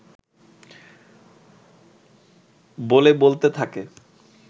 বলে বলতে থাকে